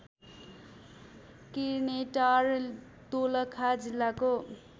किर्नेटार दोलखा जिल्लाको